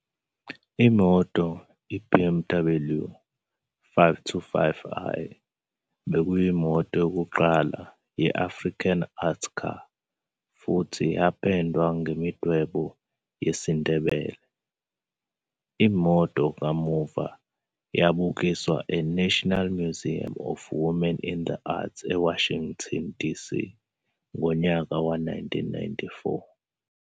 Imoto, iBMW 525i, bekuyimoto yokuqala "ye-African Art Car" futhi yapendwe ngemidwebo yesiNdebele. Imoto kamuva yabukiswa eNational Museum of Women in the Arts eWashington, DC ngo-1994.